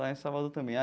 Lá em Salvador também.